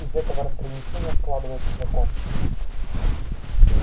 из этого разграничения складывался закон